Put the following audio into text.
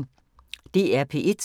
DR P1